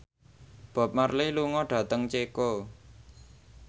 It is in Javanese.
Bob Marley lunga dhateng Ceko